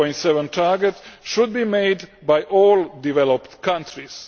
0.7 target should be made by all developed countries.